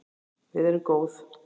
Við erum góð